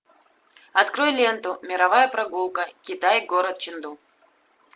открой ленту мировая прогулка китай город ченду